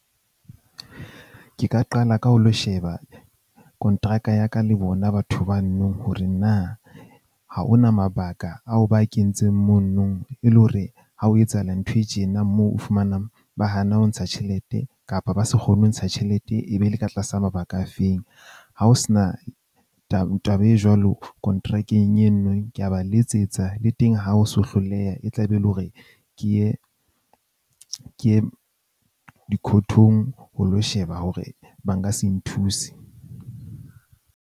Ke ka qala ka ho lo sheba kontraka ya ka, le bona batho ba no nong hore na ha hona mabaka ao ba kentseng mono nong e le hore ha o etsahala ntho e tjena moo o fumanang, ba hana ho ntsha tjhelete kapa ba se kgone ho ntsha tjhelete e be le ka tlasa mabaka afeng. Ha ho sena taba taba e jwalo kontrakeng enwe ke a ba letsetsa le teng ha o so hloleha, e tla be e le hore ke ye ke ye dikhothong ho lo sheba hore ba nka se nthuse.